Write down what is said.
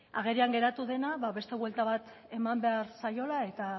agerian geratu dena ba beste buelta bat eman behar zaiola eta